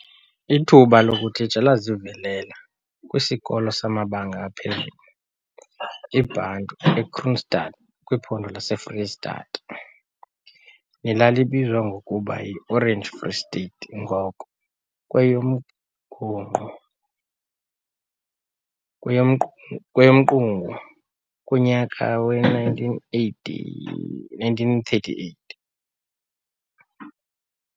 Ithuba lokutitsha lazivelela kwisikolo samabanga aphezulu, IBantu eKroonstad kwiphondo laseFreyistata, nelalibizwa ngokuba yiOrange Free State ngoko kweyomgungqu kweyomqungu, kunyaka we 1938.